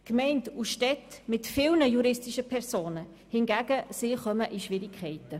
Gemeinden und Städte mit vielen juristischen Personen hingegen kommen in Schwierigkeiten.